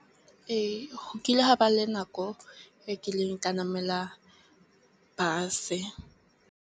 Ee, go kile ha ba le nako e kileng ka namela bus.